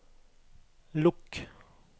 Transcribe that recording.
lukk